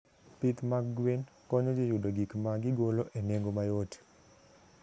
Pith mag gwen konyo ji yudo gik ma gigolo e nengo mayot.